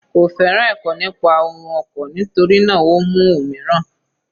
Kò féràn ẹ̀kọ́ nípa ohun oko, nítorí náà o mú òmíràn.